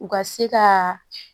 U ka se ka